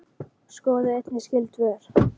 Skoðið einnig skyld svör